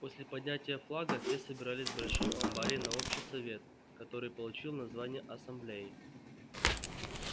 после поднятия флага все собирались в большом амбаре на общий совет который получил название ассамблеи